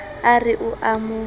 a re o a mo